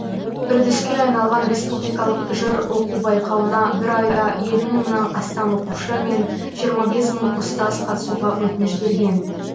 үрдіске айналған республикалық жыр оқу байқауына бір айда елу мыңнан астам оқушы мен жиырма бес мың ұстаз қатысуға өтініш берген